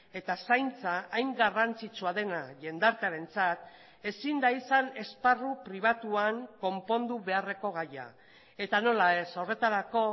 eta zaintza hain garrantzitsua dena jendartearentzat ezin da izan esparru pribatuan konpondu beharreko gaia eta nola ez horretarako